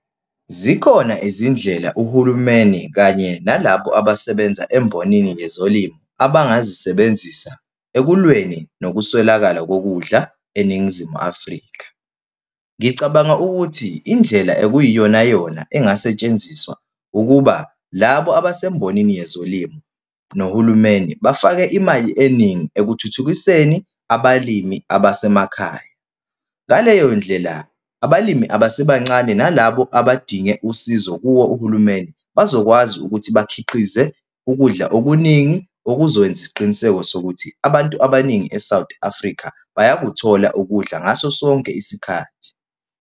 Zikhona izindlela uhulumeni kanye nalabo abasebenza embonini yezolimo abangazisebenzisa ekulweni ngokuswelakala kokudla eNingizimu Afrika. Ngicabanga ukuthi indlela okuyiyonayona engasetshenziswa ukuba labo abasembonini yezolimo, nohulumeni, bafake imali eningi ekuthuthukiseni abalimi abasemakhaya. Ngaleyo ndlela, abalimi abasebancane nalabo abadinge usizo kuwo uhulumeni bazokwazi ukuthi bakhiqize ukudla okuningi, okuzokwenza isiqiniseko sokuthi abantu abaningi e-South Africa bayakuthola ukudla ngaso sonke isikhathi.